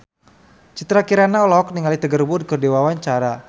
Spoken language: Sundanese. Citra Kirana olohok ningali Tiger Wood keur diwawancara